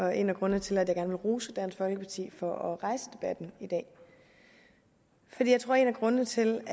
er en af grundene til at jeg gerne vil rose dansk folkeparti for at rejse debatten i dag for jeg tror en af grundene til